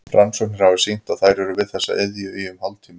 Rannsóknir hafa sýnt að þær eru við þessa iðju í um hálftíma.